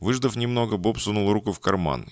выждав немного боб сунул руку в карман